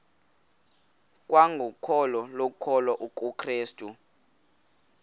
kwangokholo lokukholwa kukrestu